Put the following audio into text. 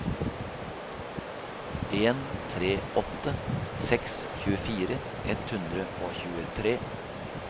en tre åtte seks tjuefire ett hundre og tjuetre